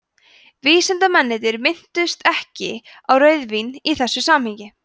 vísindamennirnir minntust ekki á rauðvín í þessu samhengi